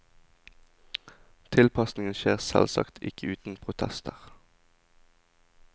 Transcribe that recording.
Tilpasningen skjer selvsagt ikke uten protester.